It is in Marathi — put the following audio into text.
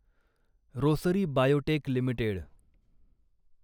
Rossari biotech limited